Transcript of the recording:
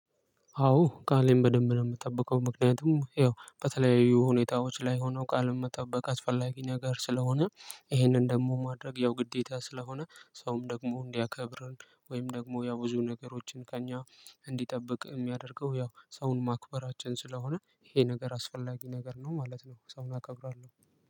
አዎ ቃሌን በደንብ ነው እምጠብቀው ምክንያቱም ያው በተለያዩ ሁኔታዎች ላይ ሆኖ ቃል መጠበቅ አስፈላጊ ነገር ስለሆነ ይሄንን ደግሞ ማድረግ ያው ግዴታ ስለሆነ ሰውም ደግሞ እንዲያከብረን ወይም ደግሞ ያው ብዙ ነገሮችን ከእኛ እንዲጠብቅ እሚያደርገው ያው ሰውን ማክበራችን ስለሆነ ይሄ ነገር አስፈላጊ ነገር ነው ማለት ነው። ሰው አከብራለሁ።